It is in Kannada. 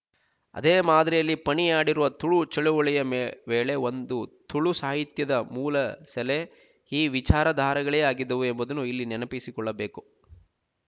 ಅದೇ ಮಾದರಿಯಲ್ಲಿ ಪಣಿಯಾಡಿಯವರ ತುಳು ಚಳುವಳಿಯ ಮೇ ವೇಳೆ ಒಂದು ತುಳು ಸಾಹಿತ್ಯದ ಮೂಲಸೆಲೆ ಈ ವಿಚಾರಧಾರೆಗಳೇ ಆಗಿದ್ದವು ಎಂಬುದನ್ನು ಇಲ್ಲಿ ನೆನಪಿಸಿಕೊಳ್ಳಬೇಕು